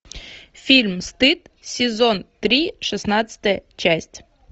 фильм стыд сезон три шестнадцатая часть